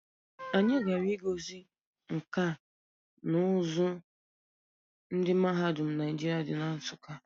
Anyi gara ihe ngosi nka na uzu ndi mahadum Naijiria di na Nsukka.